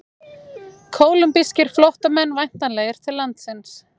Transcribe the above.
Kólumbískir flóttamenn væntanlegir til landsins